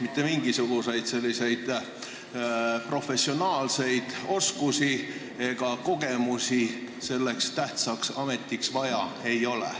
Mitte mingisuguseid professionaalseid oskusi ega kogemusi selleks tähtsaks ametiks vaja ei ole.